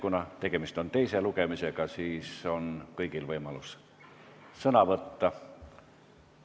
Kuna tegemist on teise lugemisega, siis on kõigil võimalus sõna võtta.